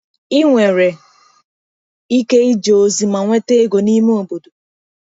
Ị nwere ike ije ozi ma nweta ego n’ime obodo.